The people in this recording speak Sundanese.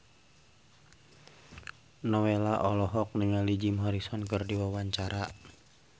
Nowela olohok ningali Jim Morrison keur diwawancara